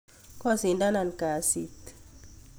Kosidanan kasit